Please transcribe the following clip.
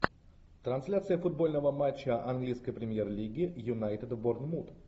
трансляция футбольного матча английской премьер лиги юнайтед борнмут